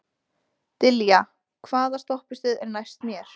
Dilja, hvaða stoppistöð er næst mér?